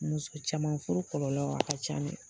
Muso caman furu kɔlɔlɔ a ka ca dɛ